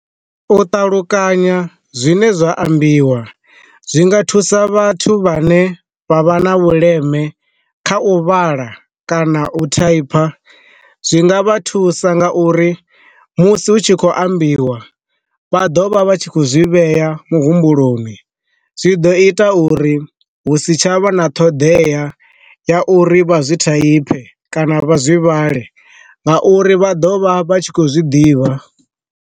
U ṱalukanya zwine zwa ambiwa zwi nga thusa vhathu vha ne vha vha na vhuleme kha u vhala kana u ṱhonipha, zwi nga vha thusa nga uri musi hu tshi khou ambiwa vha ḓovha vha tshi kho zwi vhea muhumbuloni zwi ḓo ita uri hu si tshavha na ṱhoḓea ya uri vha zwi thonifhe kana vha zwi vhale, nga uri vha ḓovha vha tshi khou zwiḓivha.